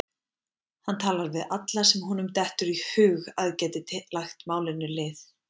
Hann talar við alla sem honum dettur í hug að geti lagt málinu lið.